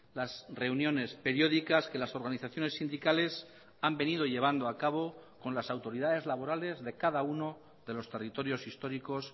las reuniones periódicas que las organizaciones sindicales han venido llevando a cabo con las autoridades laborales de cada uno de los territorios históricos